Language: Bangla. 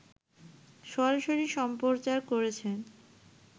সরাসরি সম্প্রচার করেছে